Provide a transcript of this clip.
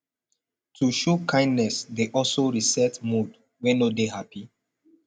to show kindness dey also reset mood wey no de happy